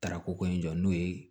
Tarako ko in jɔ n'o ye